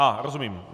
Aha, rozumím.